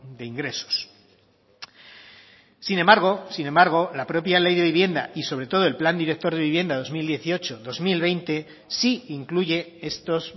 de ingresos sin embargo sin embargo la propia ley de vivienda y sobre todo el plan director de vivienda dos mil dieciocho dos mil veinte sí incluye estos